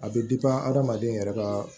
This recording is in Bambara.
A bɛ adamaden yɛrɛ ka